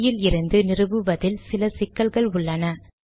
CD யில் இருந்து நிறுவுவதில் சில சிக்கல்கள் உள்ளன